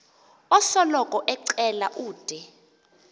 osoloko ecela ude